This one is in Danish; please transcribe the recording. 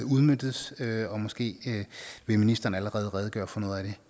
udmøntes og måske vil ministeren allerede redegøre for noget